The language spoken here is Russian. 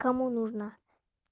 кому нужна